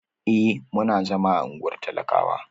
Eh, muna zama a unguwar talakawa.